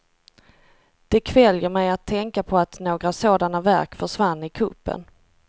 Det kväljer mig att tänka på att några sådana verk försvann i kuppen.